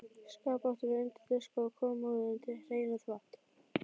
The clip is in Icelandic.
Skáp áttum við undir diska og kommóðu undir hreinan þvott.